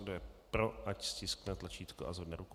Kdo je pro, ať stiskne tlačítko a zvedne ruku.